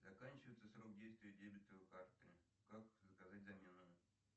заканчивается срок действия дебетовой карты как заказать замену